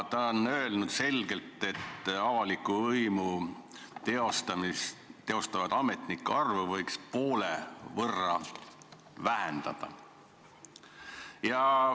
Raidla on selgelt öelnud, et avaliku võimu teostavate ametnike arvu võiks poole võrra vähendada.